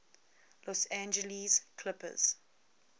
los angeles clippers